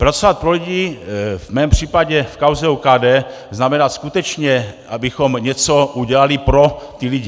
Pracovat pro lidi v mém případě v kauze OKD znamená skutečně, abychom něco udělali pro ty lidi.